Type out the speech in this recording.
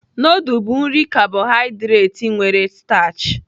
Nudul bụ nri kabohaịdret nwere stachị.